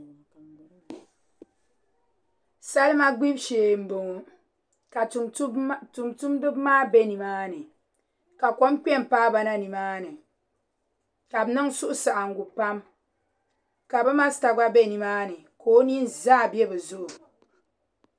Salima gbibu shee n boŋo ka tumtumdibi maa bɛ nimaa ni ka kom kpɛ n paaba na nimaani ka bi niŋ suhusaɣangu pam ka bi masta gba bɛ nimaani ka o nin zaa bɛ bi zuɣu